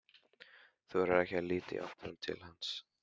Þorir ekki að líta í áttina til hans.